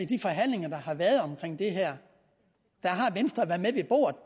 de forhandlinger der har været om det her har venstre været med ved bordet